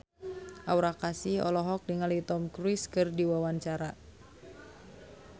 Aura Kasih olohok ningali Tom Cruise keur diwawancara